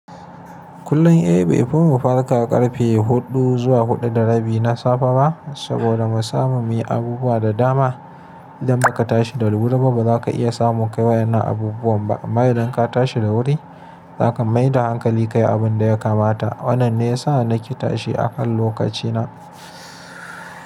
Kullum eh, be, fi mu fara ƙarfe huɗu zuwa huɗu da rabi na safe ba saboda mu samu mi abubuwa da dama. Idan ba ka tashi da wuri ba ba za ka iya samu kaiwa yanan abubuwan ba. Amma idan ka tashi da wuri za ka mai da hankali kayi abun da ya kamata. Wannan ne ya sa na ƙe tashi a kan lokaci na.